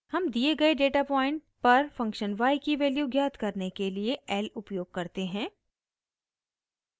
हम दिए गये डेटा पॉइंट पर फंक्शन y की वैल्यू ज्ञात करने के लिए l उपयोग करते हैं